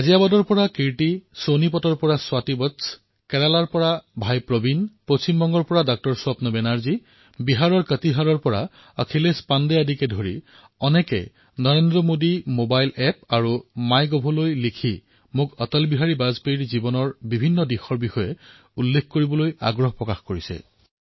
গাজিয়াবাদৰ পৰা কীৰ্তি সোনিপতৰ পৰা স্বাতি বৎস্য কেৰালাৰ ভাতৃ প্ৰবীণ পশ্চিম বংগৰ চিকিৎসক স্বপ্ন বেনাৰ্জী বিহাৰৰ কাতিহাৰৰ অখিলেশ পাণ্ডে আৰু অসংখ্য লোকে নৰেন্দ্ৰ মোদী এপত আৰু মাই গভ এপত মোক অটলজীৰ জীৱনৰ বিভিন্ন দিশৰ কথা কবলৈ আগ্ৰহ কৰিছে